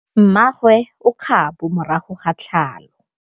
Mmagwe o kgapô morago ga tlhalô.